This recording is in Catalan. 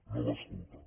no va escoltar